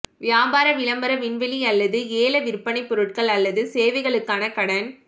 வியாபார விளம்பர விண்வெளி அல்லது ஏலவிற்பனை பொருட்கள் அல்லது சேவைகளுக்கான கடன்